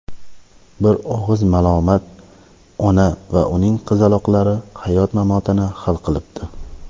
Bir og‘iz malomat ona va uning qizaloqlari hayot-mamotini hal qilibdi.